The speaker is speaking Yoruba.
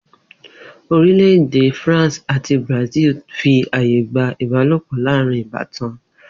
Orílè̩-èdè France àti Brazil fi aye gba ìbálopò̩ láàárín ìbátan